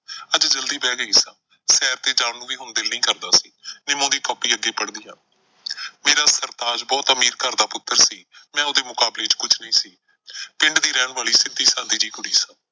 ਅੱਜ ਜਲਦੀ ਬਹਿ ਗਈ ਸਾਂ, ਸੈਰ ਤੇ ਜਾਣ ਨੂੰ ਵੀ ਹੁਣ ਦਿਲ ਨਈਂ ਕਰਦਾ ਸੀ। ਨਿਮੋਂ ਦੀ ਕਾਪੀ ਅੱਗੇ ਪੜ੍ਹਦੀ ਆਂ ਮੇਰਾ ਸਰਤਾਜ ਬਹੁਤ ਅਮੀਰ ਘਰ ਦਾ ਪੁੱਤਰ ਸੀ। ਮੈਂ ਉਹਦੇ ਮੁਕਾਬਲੇ ਚ ਕੁਝ ਨਈਂ ਸੀ। ਪਿੰਡ ਦੀ ਰਹਿਣ ਵਾਲੀ ਸਿੱਧੀ ਸਾਦੀ ਜਿਹੀ ਕੁੜੀ ਸਾਂ।